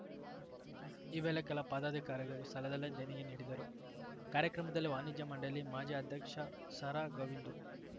ಈ ವೇಳೆ ಕೆಲ ಪದಾಧಿಕಾರಿಗಳು ಸ್ಥಳದಲ್ಲೇ ದೇಣಿಗೆ ನೀಡಿದರು ಕಾರ್ಯಕ್ರಮದಲ್ಲಿ ವಾಣಿಜ್ಯ ಮಂಡಳಿ ಮಾಜಿ ಅಧ್ಯಕ್ಷ ಸಾರಾಗೋವಿಂದು